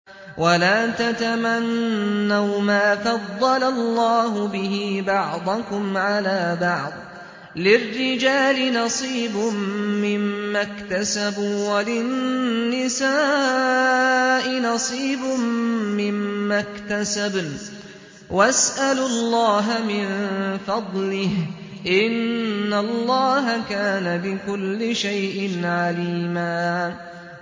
وَلَا تَتَمَنَّوْا مَا فَضَّلَ اللَّهُ بِهِ بَعْضَكُمْ عَلَىٰ بَعْضٍ ۚ لِّلرِّجَالِ نَصِيبٌ مِّمَّا اكْتَسَبُوا ۖ وَلِلنِّسَاءِ نَصِيبٌ مِّمَّا اكْتَسَبْنَ ۚ وَاسْأَلُوا اللَّهَ مِن فَضْلِهِ ۗ إِنَّ اللَّهَ كَانَ بِكُلِّ شَيْءٍ عَلِيمًا